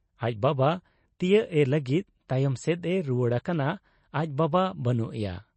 ᱟᱡ ᱵᱟᱵᱟ ᱛᱤᱭᱟᱹᱜ ᱮ ᱞᱟᱹᱜᱤᱫ ᱛᱟᱭᱚᱢ ᱥᱮᱫ ᱮ ᱨᱩᱣᱟᱹᱲ ᱟᱠᱟᱱᱟ, ᱟᱡ ᱵᱟᱵᱟ ᱵᱟᱹᱱᱩᱜ ᱮᱭᱟ ᱾